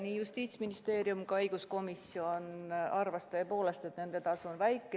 Nii Justiitsministeerium kui ka õiguskomisjon arvasid tõepoolest, et nende tasu on väike.